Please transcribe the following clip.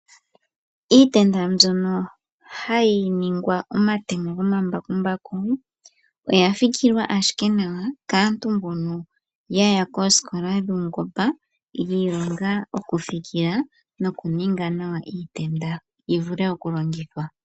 Iitenda mbyono hayi ningwa omatemo gomambakumbaku oya fikilwa owala kaantu mbono yaya koosikola dhuungomba yiilonga okufikila nokuninga nawa iitenda yivule okulongithwa.